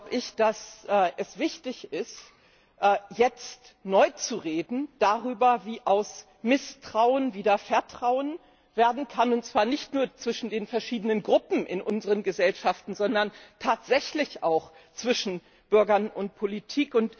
ist es wichtig, jetzt neu darüber zu reden, wie aus Misstrauen wieder Vertrauen werden kann, und zwar nicht nur zwischen den verschiedenen Gruppen in unseren Gesellschaften, sondern tatsächlich auch zwischen Bürgern und Politik.